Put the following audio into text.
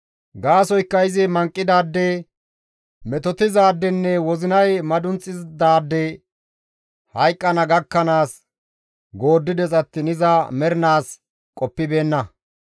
Gaasoykka izi manqidaade, metotizaadenne wozinay madunxidaade hayqqana gakkanaas gooddides attiin iza maaranaas qoppibeenna.